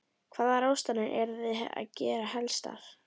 Þóra: Hvaða ráðstafanir eru þið að gera helstar?